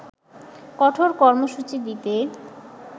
কঠোর কর্মসূচি দিতে